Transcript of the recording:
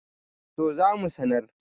to za mu sanar